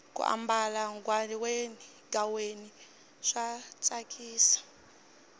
ku ambala ghaweni swa tsakisa